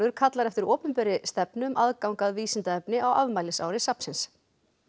kallar eftir opinberri stefnu um aðgang að vísindaefni á afmælisári safnsins